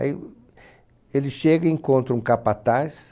Aí ele chega e encontra um capataz,